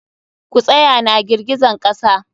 Ku tsaya na girgizan kasa!